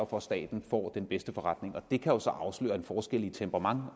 for at staten får den bedste forretning og det kan jo så afsløre en forskel i temperament